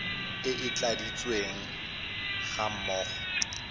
e e tladitsweng ga mmogo